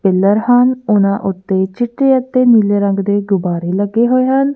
Pillar ਹਨ। ਉਹਨਾਂ ਉੱਤੇ ਚਿੱਟੇ ਅਤੇ ਨੀਲੇ ਰੰਗ ਦੇ ਗੁਬਾਰੇ ਲੱਗੇ ਹੋਏ ਹਨ।